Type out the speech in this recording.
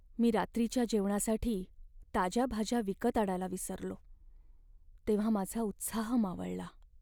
मी रात्रीच्या जेवणासाठी ताज्या भाज्या विकत आणायला विसरलो तेव्हा माझा उत्साह मावळला.